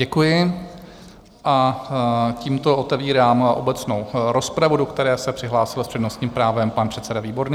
Děkuji a tímto otevírám obecnou rozpravu, do které se přihlásil s přednostním právem pan předseda Výborný.